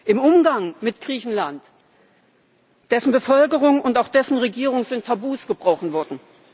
Im Umgang mit Griechenland, mit dessen Bevölkerung und dessen Regierung sind Tabus gebrochen worden.